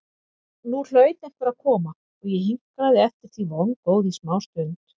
Nú hlaut einhver að koma og ég hinkraði eftir því vongóð í smástund.